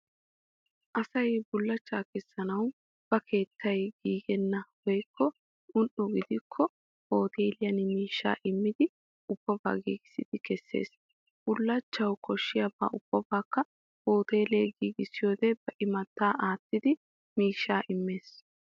Asay bullachchaa kessanawu ba keettay giigennaaga woykko un"o gidikko hoteeliyan miishshaa immidi ubabaa giigissidi kessees. Bullachawu koshiyabaa ubabaakka hooteele giigissiyoodee ba imattaa aattidi miishshaa immees.